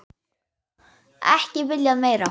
Ekki viljað meira.